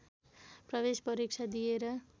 प्रवेश परीक्षा दिएर